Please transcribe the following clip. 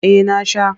Eh na sha.